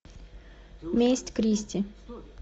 месть кристи